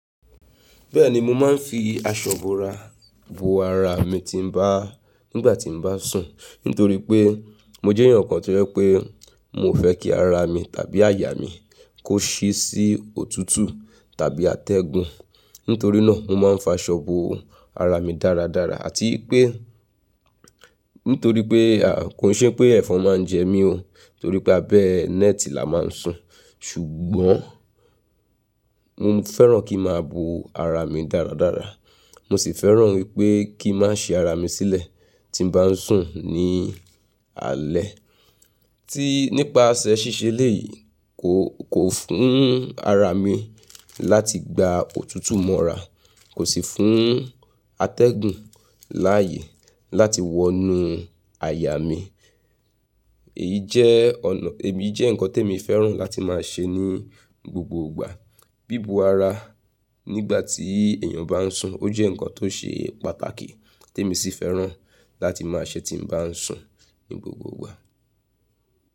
Bẹ́ẹ̀ni, mo máa ń fi aṣọ bo ara, bo ara mi tí mo bá, nígbà tí mo bá sùn. Nítorí pé mo jẹ́ èèyàn kan tí ó jẹ pé mio fẹ́ kí ara mi tàbí àyà mi kó ṣí sí òtútù tàbí atẹ́gun. Nítorí náà mo máa ń fa aṣọ bo ara mi dáradára. Àti wipé, nítorí pé, kò ki n se pé ẹ̀fọn máa ń jẹ mí o. Nítorí pé abẹ́ nẹ́ẹ̀tì la máa ń sùn. Ṣùgbọ́n mo fẹ́ràn kí n máa bo ara mi dáradára. Mo sì fẹ́ràn wípé kí n má ṣí ara mi sílẹ̀ tí mo bá ń sùn ní alẹ́. Tí, nípaṣẹ́ ṣíṣe eléyìí, kò, kò fún ara mi láti gba òtútù mọ́ra. Kò sì fún atẹ́gun láàyè láti wọnú àyà mi. Èyí jẹ́ ọ̀nà, èyí jẹ́ nǹkan tí mo fẹ́ràn láti máa ṣe ní gbogbo ìgbà. Bíbo ara nígbà tí èèyàn bá ń sùn. Ó jẹ́ nǹkan tó ṣe pàtàkì temi sì fẹ́ràn láti máa ṣe tí mo bá ń sùn ní gbogbo ìgbà.